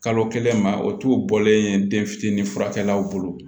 Kalo kelen ma o t'u bɔlen ye den fitinin furakɛlaw bolo